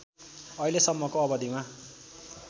अहिलेसम्मको अवधिमा